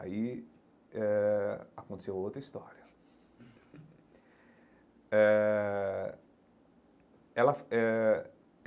Aí eh aconteceu outra história eh ela é.